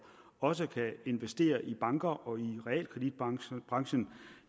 også kan investere i banker og realkreditbranchen